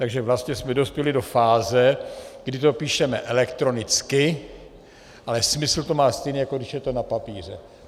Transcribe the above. Takže vlastně jsme dospěli do fáze, kdy to píšeme elektronicky, ale smysl to má stejný, jako když je to na papíře.